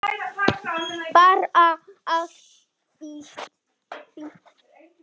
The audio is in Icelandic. Bara allt fínt.